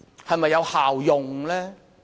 是否有效用呢？